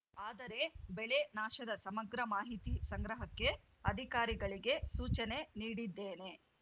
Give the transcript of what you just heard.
ಆದರೆ ಬೆಳೆ ನಾಶದ ಸಮಗ್ರ ಮಾಹಿತಿ ಸಂಗ್ರಹಕ್ಕೆ ಅಧಿಕಾರಿಗಳಿಗೆ ಸೂಚನೆ ನೀಡಿದ್ದೇನೆ